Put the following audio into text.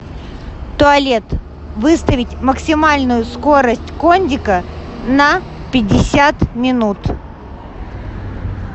туалет выставить максимальную скорость кондика на пятьдесят минут